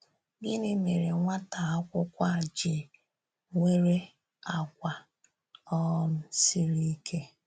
Gịnị mèré nwátà akwúkwọ a jì nwèrè àgwà um sịrì íké?